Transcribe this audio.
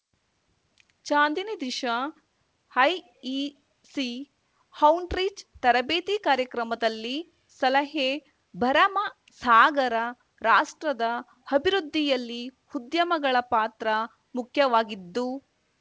ಚಾಂದಿನಿ ದಿಶಾಐಇಸಿಔಟ್ರೀಚ್‌ ತರಬೇತಿ ಕಾರ್ಯಕ್ರಮದಲ್ಲಿ ಸಲಹೆ ಭರಮಸಾಗರ ರಾಷ್ಟ್ರದ ಅಭಿವೃದ್ಧಿಯಲ್ಲಿ ಉದ್ಯಮಗಳ ಪಾತ್ರ ಮುಖ್ಯವಾಗಿದ್ದು